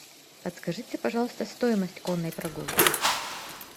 подскажите пожалуйста стоимость конной прогулки